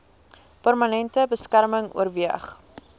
permanente beskerming oorweeg